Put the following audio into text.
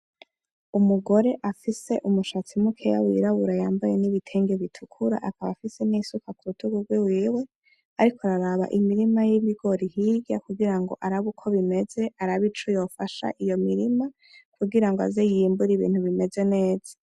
Umugore afise umushatsi mukeya w'irabura y'ambaye n'ibitenge bitukura akaba afise n'isuka kurutugu rwiwe, ariko araraba imirima y'ibigori hirya kugira ngo arabe uko bimeze, arabe ico yofasha iyo mirima. Kugira aze y'imbure ibintu bimeze neza.